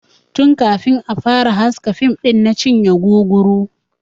Tun kafin a fara haska fim ɗin na cinye guguru.